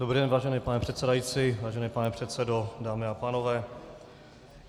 Dobrý den, vážený pane předsedající, vážený pane předsedo, dámy a pánové.